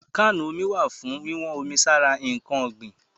Kánù omi wà fún wíwọ́n omi sára ǹkan ọ̀gbìn.